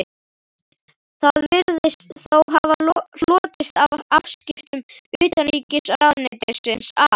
Það virðist þó hafa hlotist af afskiptum utanríkisráðuneytisins af